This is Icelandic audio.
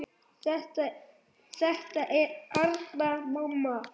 Þetta er Arnar, mamma!